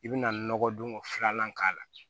I bina nɔgɔdon filanan k'a la